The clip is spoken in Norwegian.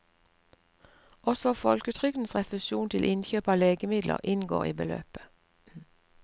Også folketrygdens refusjon til innkjøp av legemidler inngår i beløpet.